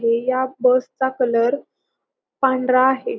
हे या बस चा कलर पांढरा आहे.